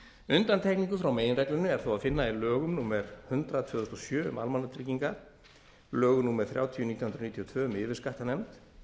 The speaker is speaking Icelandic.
undantekningu frá meginreglunni er þó að finna í lögum númer hundrað tvö þúsund og sjö um almannatryggingar lögum númer þrjátíu nítján hundruð níutíu og tvö um yfirskattanefnd